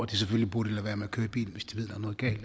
de selvfølgelig burde lade være med at køre bil